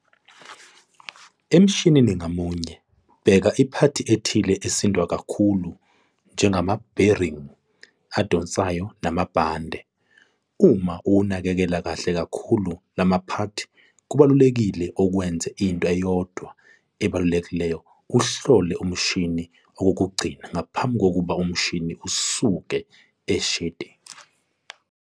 Emshinini ngamunye bheka iphathi ethile esindwa kakhulu njengama-bearing adonsayo namabhande. Uma uwanekekela kahle kakhulu lama phathi kubalulekile ukwenza into eyodwa ebalulekile uhlole umshini okokugcina ngaphambi kokuba umshini usuke e-shedi.